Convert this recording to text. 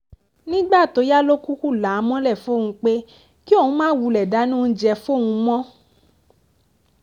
nígbà tó yá ló kúkú là á mọ́lẹ̀ fóun pé kí òun máa wulẹ̀ dáná oúnjẹ fóun mọ̀